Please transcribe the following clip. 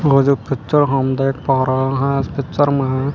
वह जो है इस पिक्चर में--